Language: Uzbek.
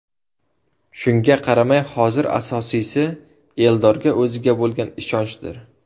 Shunga qaramay hozir asosiysi Eldorga o‘ziga bo‘lgan ishonchdir.